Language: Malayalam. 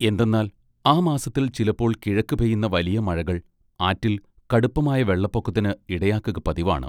എന്തെന്നാൽ ആ മാസത്തിൽ ചിലപ്പോൾ കിഴക്ക് പെയ്യുന്ന വലിയ മഴകൾ ആറ്റിൽ കടുപ്പമായ വെള്ളപ്പൊക്കത്തിന് ഇടയാക്കുക പതിവാണ്.